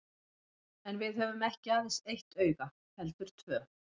En við höfum ekki aðeins eitt auga heldur tvö.